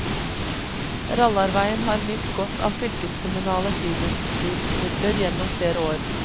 Rallarveien har nytt godt av fylkeskommunale friluftslivsmidler gjennom flere år.